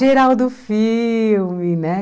Geraldo Filme, né?